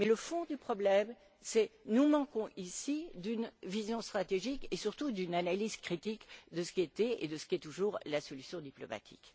Mais le fond du problème, c'est que nous manquons, ici, d'une vision stratégique et surtout d'une analyse critique de ce qui était et de ce qui est toujours la solution diplomatique.